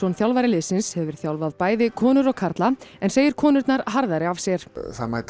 þjálfari liðsins hefur þjálfað bæði konur og karla en segir konurnar harðari af sér